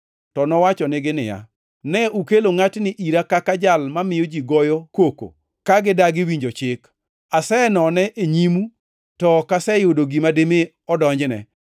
to nowachonegi niya, “Ne ukelo ngʼatni ira kaka jal mamiyo ji goyo koko ka gidagi, winjo chik. Asenone e nyimu to ok aseyudo gima dimi odonjne.